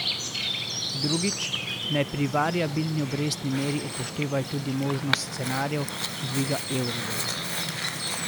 Drugič, naj pri variabilni obrestni meri upoštevajo tudi možnost scenarijev dvigov euribora.